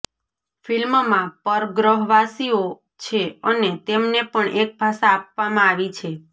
ફિલ્મમાં પરગ્રહવાસીઓ છે અને તેમને પણ એક ભાષા આપવામાં આવી છે